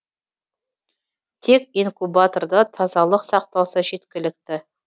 тек инкубаторда тазалық сақталса жеткілікті